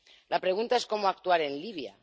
La pregunta es cómo actuar en Libia.